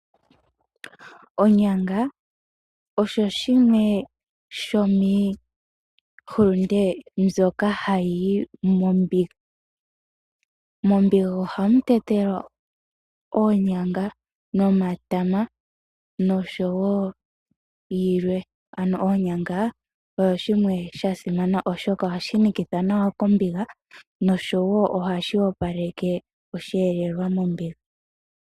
Onyanga oyo yimwe yomiihulunde mbyoka hayi yi. Mombiga ohamu tetelwa oonyanga, omatama oshowo yilwe. Oonyanga odhasimana oshoka ohadhi nikitha nawa mombiga noshowo ohashi opaleke osheelelwa mombiga.